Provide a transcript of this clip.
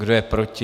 Kdo je proti?